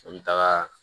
An bɛ taga